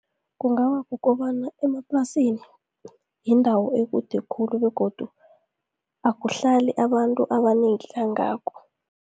Kungaba kukobana emaplasini yindawo ekude khulu, begodu akuhlali abantu abanengi kangako.